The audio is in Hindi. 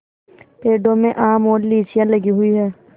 पेड़ों में आम और लीचियाँ लगी हुई हैं